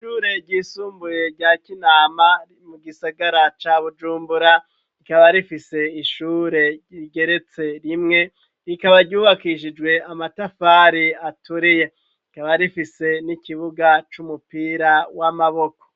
Ishure ryisumbuye rya Kinama mu gisagara ca Bujumbura rikaba rifise ishure rigeretse rimwe rikaba ryubakishijwe amatafari aturiye rikaba rifise n'ikibuga c'umupira w'amaboko.